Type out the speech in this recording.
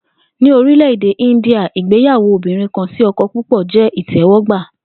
Ní orílè̩-èdè India, ìgbéyàwó obìnrin-kan-sí-o̩ko̩-púpò̩ jé̩ ìté̩wó̩gbà